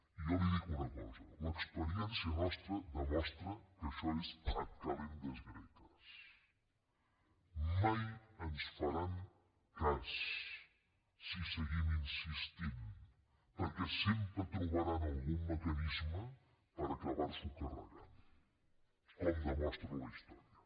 i jo li dic una cosa l’experiència nostra demostra que això és ad kalendas graecasguim insistint perquè sempre trobaran algun mecanisme per acabar s’ho carregant com demostra la història